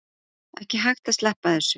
Ekki hægt að sleppa þessu